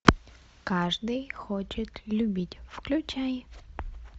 каждый хочет любить включай